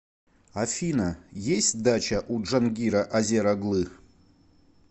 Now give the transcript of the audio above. афина есть дача у джангира азер оглы